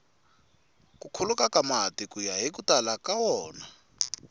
ku khuluka ka mati kuya hiku tala ka wona